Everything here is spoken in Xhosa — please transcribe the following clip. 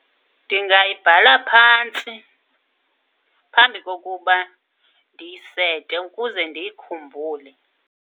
Ndingayibhala phantsi phambi kokuba ndiyisete ukuze ndiyikhumbule.